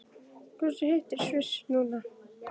Hversu heitt er í Sviss núna?